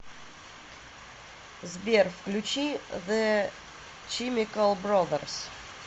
сбер включи зе чимикал брозерс